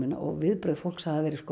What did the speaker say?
og viðbrögð fólks hafa verið